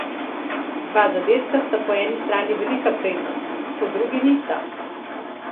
Dva zadetka sta po eni strani velika prednost, po drugi nista.